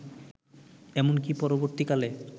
এমনকি পরবর্তীকালে